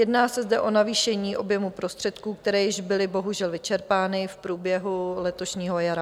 Jedná se zde o navýšení objemu prostředků, které byly již bohužel vyčerpány v průběhu letošního jara.